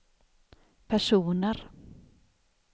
personer